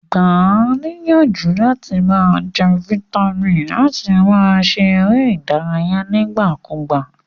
Gba a níyànjú làti ma je vitamin àti láti ma se eré ìdárayé nígbà kúgbà